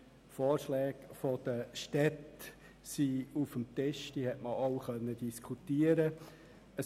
Die Vorschläge der Städte sind auf dem Tisch, diese sollte man auch diskutieren können.